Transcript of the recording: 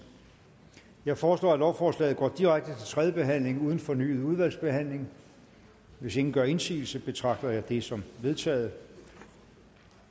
jeg foreslår at lovforslaget går direkte til tredje behandling uden fornyet udvalgsbehandling hvis ingen gør indsigelse betragter jeg det som vedtaget